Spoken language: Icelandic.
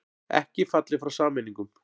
Ekki fallið frá sameiningum